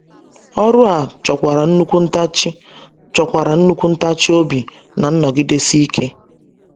Ọrụ a chọkwara nnukwu ntachi chọkwara nnukwu ntachi obi na nnọgidesi ike.